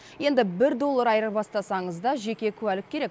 енді бір доллар айырбастасаңыз да жеке куәлік керек